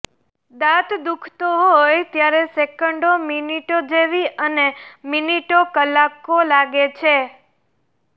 દાંત દુખતો હોય ત્યારે સેકંડો મિનિટો જેવી અને મિનિટો કલાકો લાગે છે